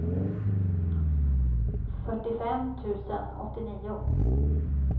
fyrtiofem tusen åttionio